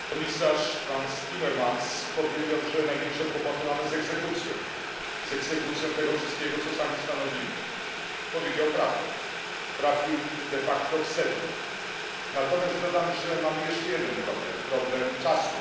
Pani Przewodnicząca! Komisarz Frans Timmermans powiedział, że największe kłopoty mamy z egzekucją tego wszystkiego, co sami stanowimy powiedział prawdę, trafił de facto w sedno. Natomiast dodam, że mamy jeszcze jeden problem problem czasu.